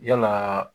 Yalaa